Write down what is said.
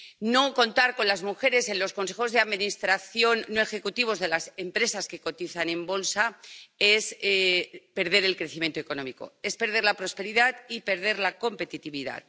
No contar con las mujeres en los consejos de administración no ejecutivos de las empresas que cotizan en bolsa es perder el crecimiento económico, es perder la prosperidad y perder la competitividad.